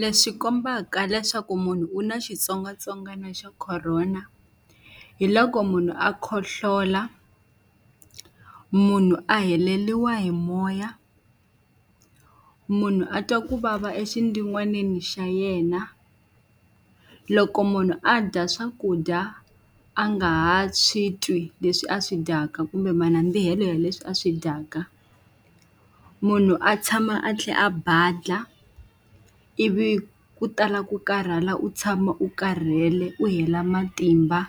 Leswi kombaka leswaku munhu u na xitsongwatsongwana xa Corona, hi loko munhu a khohlola, munhu a heleriwa hi moya, munhu a twa ku vava exindziwanini xa yena. Loko munhu a dya swakudya a nga ha swi twi leswi a swi dyaka kumbe manandzikelo ya leswi a swi dyaka. Munhu a tshama a tlhela a badlha, ivi ku tala ku karhala, u tshama u karhele, u hela matimba,